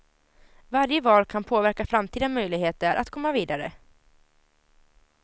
Varje val kan påverka framtida möjligheter att komma vidare.